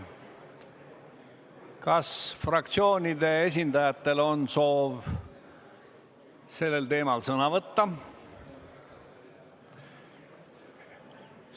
Kas fraktsioonide esindajatel on soov sellel teemal sõna võtta?